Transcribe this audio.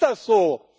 Warum ist das so?